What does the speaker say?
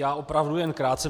Já opravdu jen krátce.